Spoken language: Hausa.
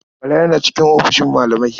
Bala yana cikin ofishin malamai.